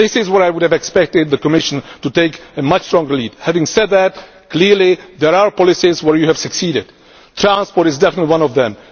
This is where I would have expected the Commission to take a much stronger lead. Having said that, clearly there are policies where you have succeeded. Transport is definitely one of